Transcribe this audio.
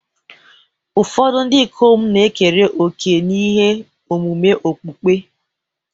Ụfọdụ ndị ikom na-ekere òkè n'ihe omume okpukpe.